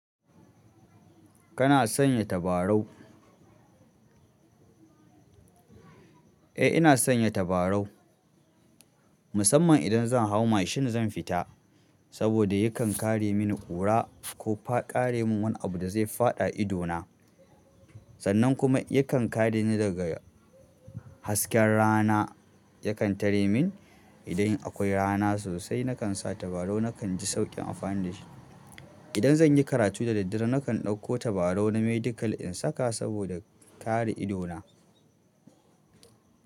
Kana sanya tabarau? Eh ina sanya tabarau. Musamman idan zan hau mashin zan fita. Saboda yakan kare mini ƙura ko fa ƙare min wani abu da zai faɗa idona. Sannan kuma yakan kareni daga hasken rana, yakan tare min idan akwai rana sosai nakan sa tabarau nakan ji sauƙin amfani da shi. Idan zan yi karatu da daddare nakan ɗauko tabarau na medical in saka saboda kare idona.